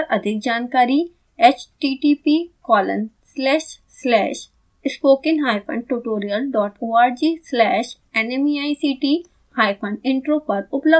इस मिशन पर अधिक जानकारी